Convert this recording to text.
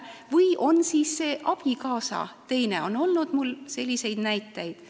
On ka neid juhtumeid, kui on tegemist abikaasaga, on olnud selliseid näiteid.